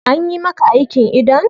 Anyi maka aikin idon?